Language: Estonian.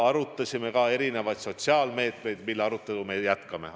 Arutasime ka erinevaid sotsiaalmeetmeid, mille arutelu me jätkame.